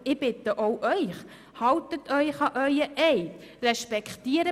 Ich bitte Sie, halten Sie sich auch an Ihren Eid.